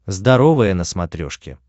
здоровое на смотрешке